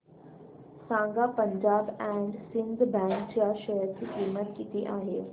सांगा Punjab and Sind bank च्या share ची किंमत किती आहे